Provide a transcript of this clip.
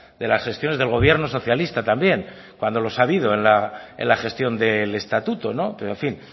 de las gestiones del gobierno socialista también cuando los ha habido en la gestión del estatuto pero en fin